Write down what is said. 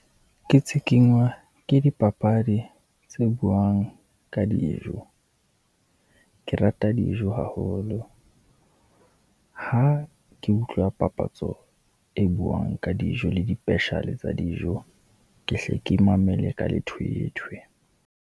Ke tshikinywa ke dipapadi tse buang ka dijo. Ke rata dijo haholo, ha ke utlwa papatso e buang ka dijo le dipesheale tsa dijo, ke hle ke mamele ka lethwethwe.